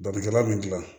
Balikɛla bɛ gilan